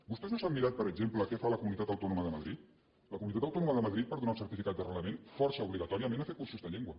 vostès no s’han mirat per exemple què fa la comunitat autò·noma de madrid la comunitat autònoma de madrid per donar un certificat d’arrelament força obligatòria·ment a fer cursos de llengua